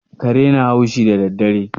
Kare na haushi daddare.